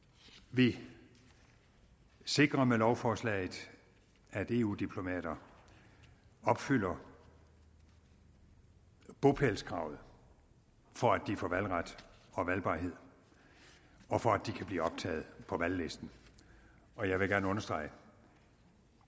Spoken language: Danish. vi sikrer med lovforslaget at eu diplomater opfylder bopælskravet for at de får valgret og valgbarhed og for at de kan blive optaget på valglisten og jeg vil gerne understrege at